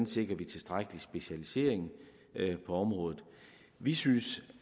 sikrer tilstrækkelig specialisering på området vi synes